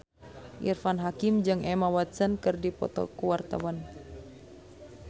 Irfan Hakim jeung Emma Watson keur dipoto ku wartawan